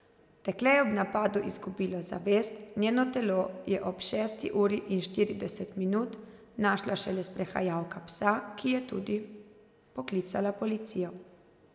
Dekle je ob napadu izgubilo zavest, njeno telo je ob šesti uri in štirideset minut našla šele sprehajalka psa, ki je tudi poklicala policijo.